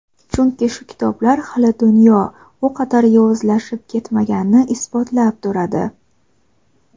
Chunki shu kitoblar hali dunyo u qadar yovuzlashib ketmaganini isbotlab turadi.